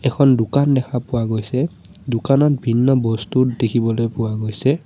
এখন দোকান দেখা পোৱা গৈছে দোকানত ভিন্ন বস্তু দেখিবলৈ পোৱা গৈছে।